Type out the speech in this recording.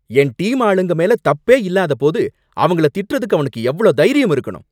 என் team ஆளுங்க மேல தப்பே இல்லாத போது, அவங்கள திட்டுறதுக்கு அவனுக்கு எவ்ளோ தைரியம் இருக்கணும்